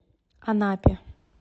анапе